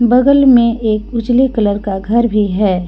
बगल में एक उजले कलर का घर भी है।